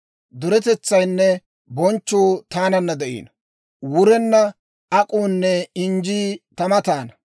Duretetsaynne bonchchuu taananna de'iino; wurenna ak'uunne injjii ta mataana.